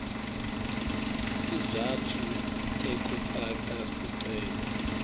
tizatfu tekufaka sicelo